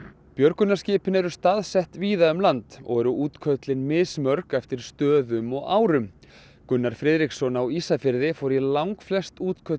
björgunarskipin eru staðsett víða um land útköllin eru mismörg eftir stöðum og árum Gunnar Friðriksson á Ísafirði fór í langflest útköll